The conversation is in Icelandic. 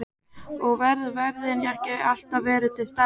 Og værðin ekki alltaf verið til staðar.